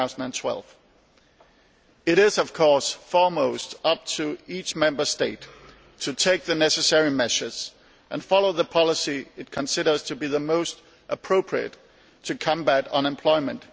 2012. It is, of course, primarily up to each Member State to take the necessary measures and follow the policy it considers to be the most appropriate to combat unemployment.